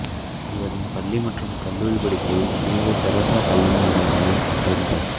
இவரின் பள்ளி மற்றும் கல்லூரிப் படிப்பை புனித தெரசா கல்விநிலையங்களில் படித்தார்